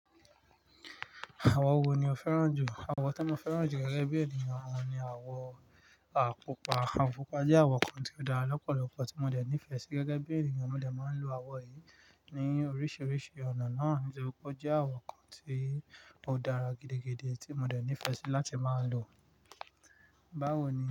Àwọ̀ wo ni o fẹ́ràn jù? Àwọ̀ tí mo fẹ́ràn jù gẹ́gẹ́ bí ènìyàn ni àwọ̀ àkúpa. Àwo púpa jẹ́ àwọ̀ kan tí ó dára lọ́pọ̀lọpọ̀ tí mo dẹ̀ nífẹ̀ẹ́ sí gẹ́gẹ́ bí ènìyàn. Mo dẹ̀ máa ń lo àwọ̀ yìí ní oríṣiríṣi ọ̀nà náà nítorí pé ó jẹ́ àwọ̀ kan tí ó dára gidigidi tí mo dẹ̀ nífẹ̀ẹ́ sí láti máa ń lò. Báwo ni.